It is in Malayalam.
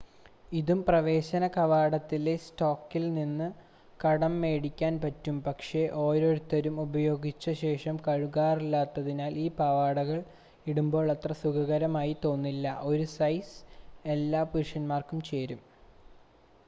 ഇതും പ്രവേശന കവാടത്തിലെ സ്റ്റോക്കിൽ നിന്ന് കടം മേടിക്കാൻ പറ്റും പക്ഷേ ഓരോരുത്തരും ഉപയോഗിച്ചശേഷം കഴുകാറില്ലാത്തതിനാൽ ഈ പാവാടകൾ ഇടുമ്പോൾ അത്ര സുഖകരമായി തോന്നില്ല 1 സൈസ് എല്ലാ പുരുഷന്മാർക്കും ചേരും